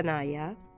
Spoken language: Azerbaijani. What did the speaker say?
Rəanaya.